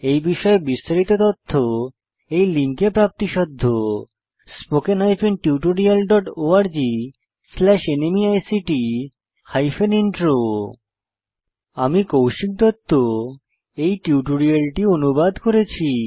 এই বিষয়ে বিস্তারিত তথ্য এই লিঙ্কে প্রাপ্তিসাধ্য spoken hyphen tutorial dot org slash NMEICT hyphen intro আমি কৌশিক দত্ত এই টিউটোরিয়ালটি অনুবাদ করেছি